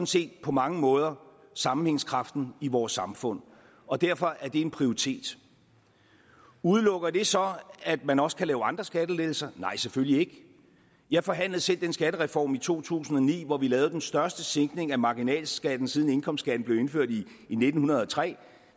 set på mange måder sammenhængskraften i vores samfund og derfor er det en prioritet udelukker det så at man også kan lave andre skattelettelser nej selvfølgelig ikke jeg forhandlede selv den skattereform i to tusind og ni hvor vi lavede den største sænkning af marginalskatten siden indkomstskatten blev indført i nitten hundrede og tre